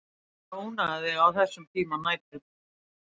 Annars væri ég ekki að ónáða þig á þessum tíma nætur.